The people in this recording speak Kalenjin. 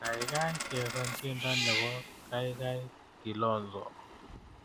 Gaigai chesan tyendo nebo kaikai kilonso